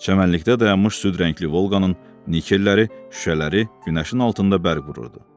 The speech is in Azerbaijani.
Çəmənlikdə dayanmış süd rəngli Volqanın nikelləri, şüşələri günəşin altında bərq vururdu.